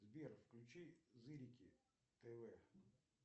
сбер включи зырики тв